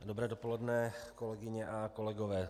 Dobré dopoledne, kolegyně a kolegové.